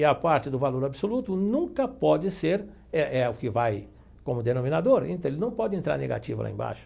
E a parte do valor absoluto nunca pode ser, é é o que vai como denominador, então ele não pode entrar negativo lá embaixo.